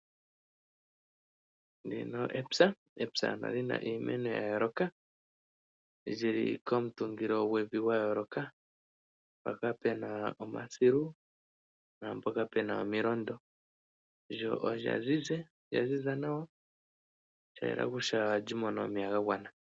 Ndino epya, epya ano olina iimeno ya yooloka li li komutungilo gwevi gwa yooloka mpoka pena omasilu naampoka pena omilondo lyo olya ziza nawa sha yela kutya oha li mono omeya ga gwana.